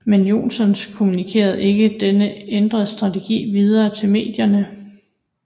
Men Johnson kommunikerede ikke denne ændrede strategi videre til medierne